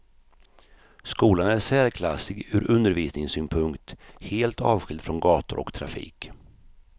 Skolan är särklassig ur undervisningssynpunkt, helt avskild från gator och trafik.